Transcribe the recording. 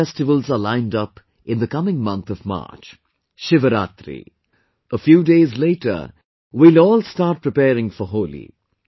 Many festivals are lined up in the coming month of March... Shivratri... A few days later we will all will start preparing for Holi